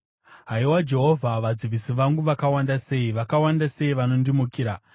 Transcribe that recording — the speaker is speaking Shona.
Haiwa Jehovha, vadzivisi vangu vakawanda sei! Vakawanda sei vanondimukira!